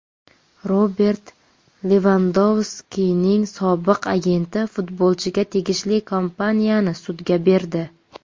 Robert Levandovskining sobiq agenti futbolchiga tegishli kompaniyani sudga berdi.